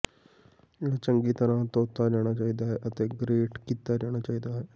ਇਹ ਚੰਗੀ ਤਰ੍ਹਾਂ ਧੋਤਾ ਜਾਣਾ ਚਾਹੀਦਾ ਹੈ ਅਤੇ ਗਰੇਟ ਕੀਤਾ ਜਾਣਾ ਚਾਹੀਦਾ ਹੈ